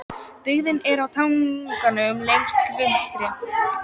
Byggðin er á tanganum lengst til vinstri.